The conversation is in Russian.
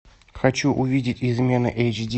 хочу увидеть измены эйч ди